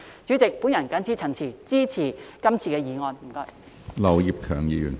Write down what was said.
主席，我謹此陳辭，支持這項議案，謝謝。